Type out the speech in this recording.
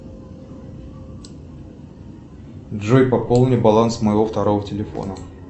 джой пополни баланс моего второго телефона